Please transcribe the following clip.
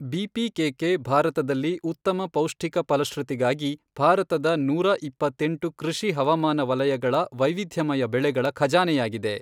BPKK ಭಾರತದಲ್ಲಿ ಉತ್ತಮ ಪೌಷ್ಟಿಕ ಫಲಶ್ರುತಿಗಾಗಿ ಭಾರತದ ನೂರ ಇಪ್ಪತ್ತೆಂಟು ಕೃಷಿ ಹವಾಮಾನ ವಲಯಗಳ ವೈವಿಧ್ಯಮಯ ಬೆಳೆಗಳ ಖಜಾನೆಯಾಗಿದೆ.